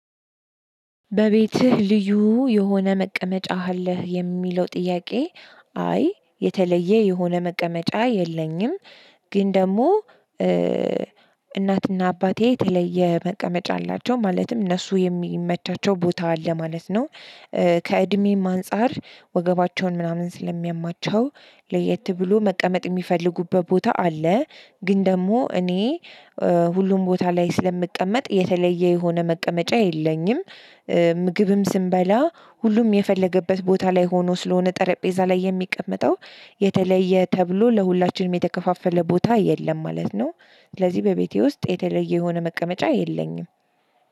"በቤትህ ልዩ የሆነ መቀመጫ አለህ?" የሚለው ጥያቄ አይ የተለየ የሆነ መቀመጫ የለኝም፤ ግን ደግሞ እናትና አባቴ የተለየ መቀመጫ አላቸው። ማለትም እነሱ የሚመቻቸው ቦታ አለ ማለት ነው። ከእድሜም አንፃር ወገባቸውን ምናምን ስለሚያማቸው ለየት ብሎ መቀመጥ የሚፈልጉበት ቦታ አለ። ግን ደግሞ እኔ ሁሉም ቦታ ላይ ስለምቀመጥ የተለየ የሆነ መቀመጫ የለኝም። ምግብም ስንበላ ሁሉም የፈለገበት ቦታ ላይ ሆኖ ስለሆነ ጠረጴዛ ላይ የሚቀመጠው የተለየ ተብሎ ለሁላችንም የተከፋፈለ ቦታ የለም ማለት ነው። ስለዚህ በቤቴ ውስጥ የተለየ የሆነ መቀመጫ የለኝም።